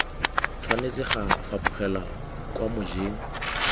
tshwanetse ga fapogelwa kwa mojeng